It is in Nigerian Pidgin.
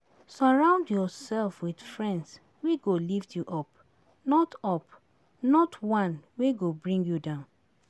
surround yourself with friends wey go lift you up, not up, not one wey go bring you down.